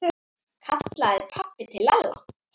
kallaði pabbi til Lalla.